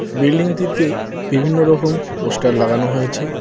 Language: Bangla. বিল্ডিং -টিতে বিভিন্ন রকম পোস্টার লাগানো হয়েছে।